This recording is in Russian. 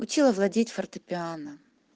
учила владеть фортепиано